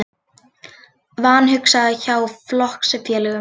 Vanhugsað hjá flokksfélögum